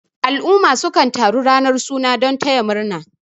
al'umma sukan taru ranar suna don taya murna